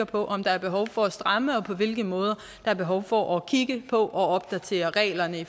på om der er behov for at stramme op og på hvilke måder der er behov for at kigge på og opdatere reglerne